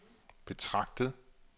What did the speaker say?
betragtet